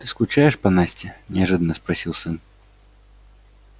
ты скучаешь по насте неожиданно спросил сын